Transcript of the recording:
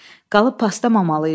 Qalıb paslanmamalı idi.